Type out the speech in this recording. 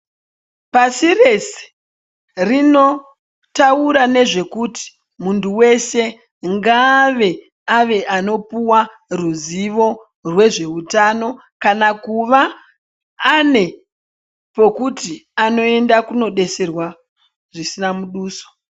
Pasi rese rinotaura nezvekuti muntu weshe ngaave anopuhwa zivo rezveutano kana kuve ane pekuti anoenda kunodetserwa zvisina muduso.